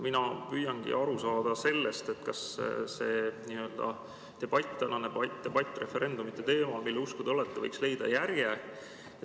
Mina püüangi aru saada, kas see n‑ö tänane debatt referendumite teemal, mille usku te olete, võiks leida järje.